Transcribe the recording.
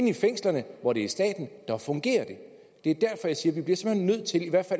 i fængslerne hvor det er staten fungerer det det